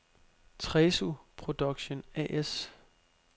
Tresu Production A/S